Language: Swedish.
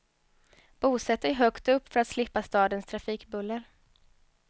Bosätt dig högt upp för att slippa stadens trafikbuller.